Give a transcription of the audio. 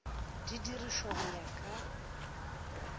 di dirišwe go ya ka